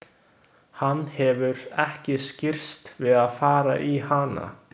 Hann hefur ekki skirrst við að fara í hana.